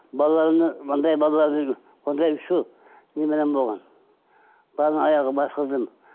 балаларымның андай балаларым онда үшеу немерем болған аяғын басқыздым